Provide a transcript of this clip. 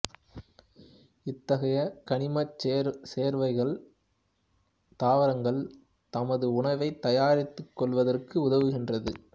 இத்தகைய கனிமச் சேர்வைகள் தாவரங்கள் தமது உணவைத் தயாரித்துக் கொள்வதற்கு உதவுகின்றது